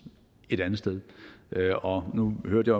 et andet sted og nu hørte